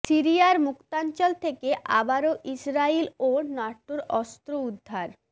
সিরিয়ার মুক্তাঞ্চল থেকে আবারও ইসরাইল ও ন্যাটোর অস্ত্র উদ্ধার